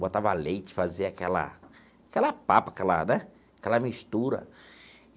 Botava leite, fazia aquela... aquela papa, aquela né aquela mistura.